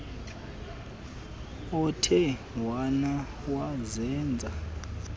othe wena wazenza